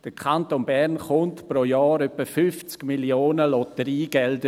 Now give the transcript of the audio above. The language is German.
Der Kanton Bern erhält pro Jahr ungefähr 50 Mio. Franken Lotteriegelder.